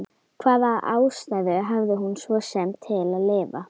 Hvaða ástæðu hafði hún svo sem til að lifa?